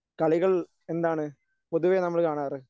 കളികൾ എന്താണ് പൊതുവേ നമ്മൾ കാണാറ്?